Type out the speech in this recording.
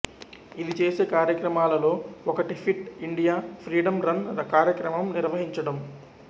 ఇది చేసే కార్యక్రమాలలో ఒకటి ఫిట్ ఇండియా ఫ్రీడమ్ రన్ కార్యక్రమం నిర్వహించటం